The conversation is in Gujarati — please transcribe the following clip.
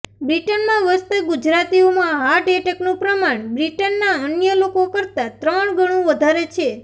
બ્રિટનમાં વસતા ગુજરાતીઓમાં હાર્ટ એટેકનું પ્રમાણ બ્રિટનના અન્ય લોકો કરતાં ત્રણ ગણું વધારે છે